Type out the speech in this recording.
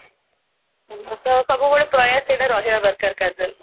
ତ ସବୁବେଳେ ଏ ପ୍ରୟାସ ରାହିବା ଦରକାର କାଜଲ